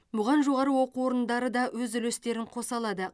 бұған жоғары оқу орындары да өз үлестерін қоса алады